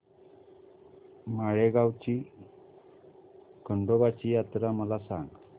माळेगाव ची खंडोबाची यात्रा मला सांग